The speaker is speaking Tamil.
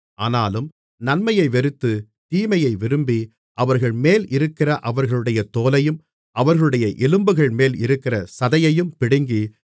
ஆனாலும் நன்மையை வெறுத்து தீமையை விரும்பி அவர்கள்மேல் இருக்கிற அவர்களுடைய தோலையும் அவர்களுடைய எலும்புகள்மேல் இருக்கிற சதையையும் பிடுங்கி